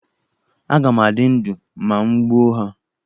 Aga m adị ndụ ma m gbuo ha?